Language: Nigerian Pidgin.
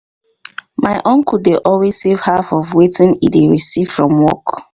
my uncle dey always save half of wetin he dey receive from work